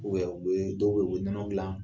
u bɛ dɔw bɛ in u bɛ nɔnɔ gilan